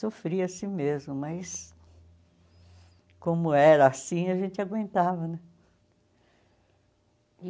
Sofria assim mesmo, mas como era assim, a gente aguentava, né?